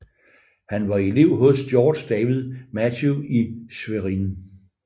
Han var elev hos Georg David Matthieu i Schwerin